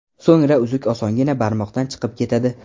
So‘ngra uzuk osongina barmoqdan chiqib ketadi.